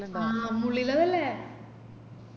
ആ മുള്ളിള്ളതല്ലേ